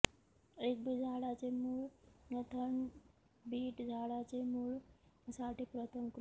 एक बीट झाडाचे मूळ थंड बीट झाडाचे मूळ साठी प्रथम कृती